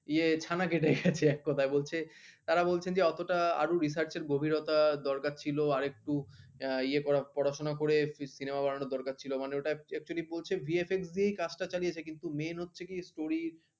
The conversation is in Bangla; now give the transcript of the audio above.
তারা বলছেন যে অতোটা আরও research গভীরতা দরকার ছিল আরেকটু ইয়ে করা পড়াশোনা করে Cinema বানানো দরকার ছিল মানে ওটা actually বলছে VFX দিয়েই কাজটা চালিয়েছে কিন্তু Main হচ্ছে কি story